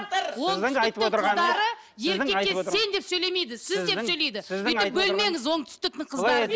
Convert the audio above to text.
оңтүстіктің қыздары еркекке сен деп сөйлемейді сіз деп сөйлейді өйтіп бөлмеңіз оңтүстіктің қыздары деп